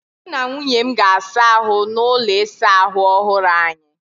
Mụ na nwunye m ga-asa ahụ n'ụlọ ịsa ahụ ọhụrụ anyị.